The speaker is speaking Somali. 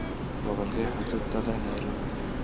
Gobolkee xuduud la leh nairobi?